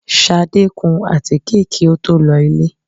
Ṣadé kún àtíké kí ó tó lọ ilé